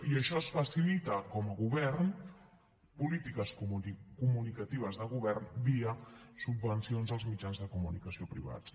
i això es facilita com a govern polítiques comunicatives de govern via subvencions als mitjans de comunicació privats